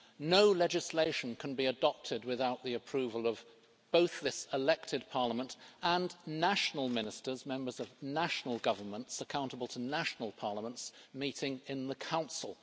No legislation can be adopted without the approval of both this elected Parliament and national ministers members of national governments, accountable to national parliaments meeting in the Council.